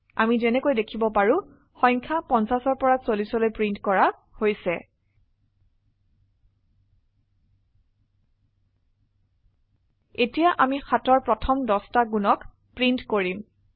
অামি যেনেকৈ দেখিব পাৰো সংখয়া 50 পৰা 40লৈ প্ৰিন্ট কৰা হৈছে এতিয়া আমি 7অৰ প্ৰথম 10টা গুণক প্ৰিন্ট কৰিম